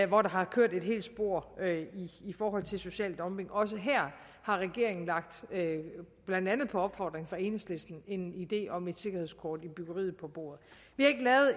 hvor der har kørt et helt spor i forhold til social dumping også her har regeringen blandt andet på opfordring fra enhedslisten en idé om et sikkerhedskort i byggeriet på bordet